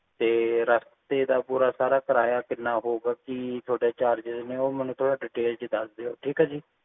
ਤੇ ਰਸਤੇ ਦਾ ਪੂਰਾ ਸਾਰਾ ਕਿਰਾਇਆ ਕੀਨਾ ਹੋਊਗਾ ਕਿ ਤੁਹਾਡੇ charges ਨੇ ਉਹ ਮੈਨੂੰ ਥੋੜਾ detail ਚ ਦੱਸ ਦੇਯੋ ਠੀਕ ਆ ਜੀ